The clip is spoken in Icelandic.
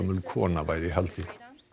kona væri í haldi